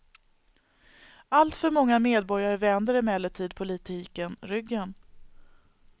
Alltför många medborgare vänder emellertid politiken ryggen.